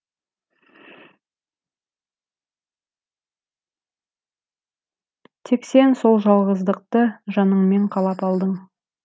тек сен сол жалғыздықты жаныңмен қалап алдың